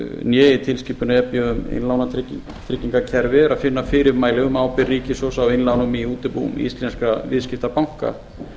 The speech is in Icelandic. né í tilskipun e b um innlánatryggingakerfi er að finna fyrirmæli um ábyrgð ríkissjóðs á innlánum í útibú íslenskra viðskiptabanka